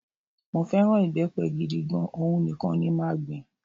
Mó fẹ́ràn ìbẹ́pẹ gidi gan, òhun nìkan ni màá gbìn